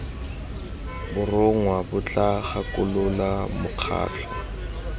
borongwa bo tla gakolola mokgatlho